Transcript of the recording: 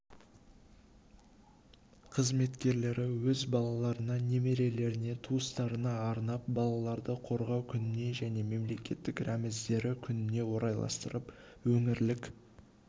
қызметкерлері өз балаларына немерелеріне туыстарына арнап балаларды қорғау күніне және мемлекеттік рәміздері күніне орайластырып өңірлік